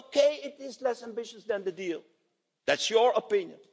Okay, it is less ambitious than the deal, that's your opinion.